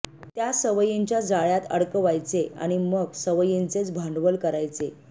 त्या सवयींच्या जाळ्यात अडकवायचे आणि मग या सवयींचेच भांडवल करायचे